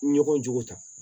Ɲɔgɔn jogo ta